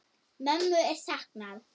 Mömmu er saknað.